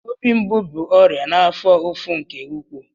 Obi mgbu bụ ọrịa na-afo ụfụ nke ụkwụụ.